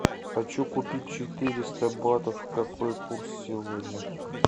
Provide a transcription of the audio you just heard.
хочу купить четыреста батов какой курс сегодня